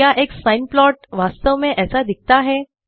क्या एक sine plot वास्तव में ऐसा दिखता है